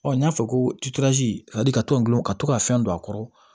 Ɔ n y'a fɔ ko ka tɔn gulon ka to ka fɛn don a kɔrɔ